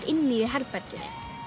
inni í herberginu